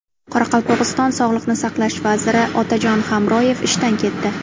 Qoraqalpog‘iston sog‘liqni saqlash vaziri Otajon Hamroyev ishdan ketdi.